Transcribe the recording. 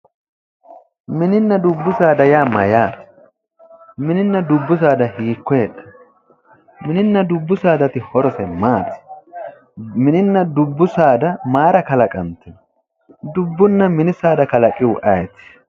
Mininna dubbu saada yaa mayyaate? Mininna dubbu saada hiikko heedhanno? Mininna dubbu saadati horose maati? Mininna dubbu saada mayira kalaqantino? Dubbunna mini saada kalaqihu ayeeti?